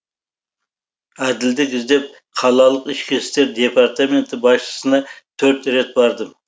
әділдік іздеп қалалық ішкі істер департаменті басшысына төрт рет бардым